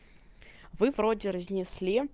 вы вроде разнесли